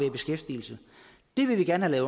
i beskæftigelse det vil vi gerne